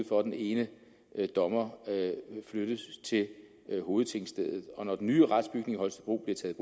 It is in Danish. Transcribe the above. for at den ene dommer flyttes til hovedtingstedet og når den nye retsbygning i holstebro bliver taget